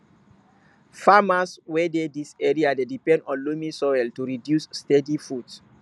farmers wey dey dis area dey depend on loamy soil to produce steady food